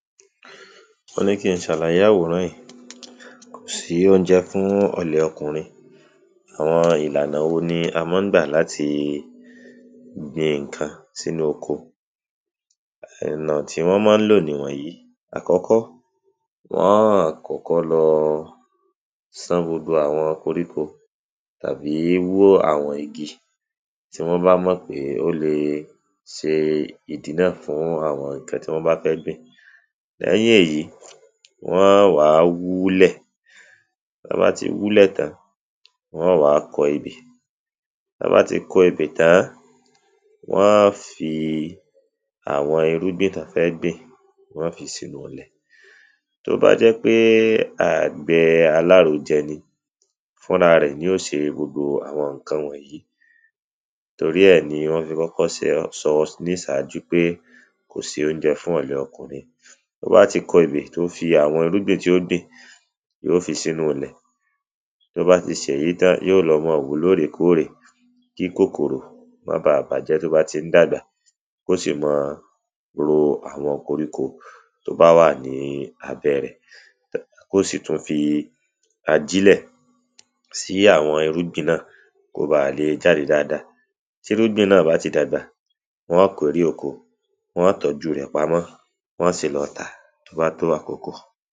wọ́n ní kin ṣàlàyé àwòrán ìí. kòsí óunjẹ fún ọ̀lẹ ọkùrin. àwọn ìlànà wo ní a mọ́n gbà láti gbin ǹkan sínú oko? ẹ̀nà tí wọ́n mọ́n lò nì wọ̀nyí; àkọ́kọ́, wọn ọ́n kọ́kọ́ lọ sán gbogbo àwọn koríko tàbí wó àwọn igi. tí wọ́n bá mọ̀ pé ó le ṣe ìdínà fún àwọn ǹkan tí wọ́n bá fẹ́ gbìn. lẹ́yìn èyí, wọ́n wá wúlẹ̀, tán bá ti wúlẹ̀ tán, wọn ó wá kọ ebè. tán bá ti kọ ebè tán, wọ́n ọ́ fi àwọn irúgbìn tán fẹ́ gbìn, wọ́n ọ́ fi sínú ilẹ̀. tó bá jẹ́ pé àgbẹ̀ alárojẹ ni, fúnrarẹ̀ ni ó ṣe gbogbo àwọn ǹkan wọ̀nyí. torí ẹ̀ ni wọ́n fi kọ́kọ́ sọ nísájú pé kòsí oúnjẹ fún ọ̀lẹ ọkùnrin. tóba ti kọ ebè tó fi àwọn irúgbìn tí ó gbin, yíò fi sínú ilẹ̀, tóbá ti ṣèyín tán, yíò lọ mọ wò ó lóòrèkóòrè, kí kòkòrò má baà bàájẹ́ tó bá ti ń dàgbà, kósì mọ́ọ ro àwọn koríko tó bá wà ní abẹ́ẹ rẹ̀. kósì tún fi ajílẹ̀ sí àwọn irúgbìn náà kóbaà le jáde dáada. tírúgbìn náà bá ti dàgbà, wọ́n ọ́ kérè oko, wọ́n ọ́ tọ́ju rẹ̀ pamọ́, wọ́n ọ́ sì lọ tà á tó ba tó àkókò.